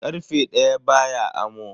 Karfe daya baya amo.